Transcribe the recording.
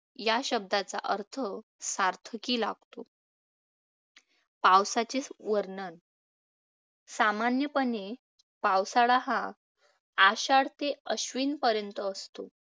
या शब्दाचा अर्थ सार्थकी लागतो. पावसाचे वर्णन सामान्यपणे, पावसाळा हा आषाढ ते अश्विन पर्यंत असतो.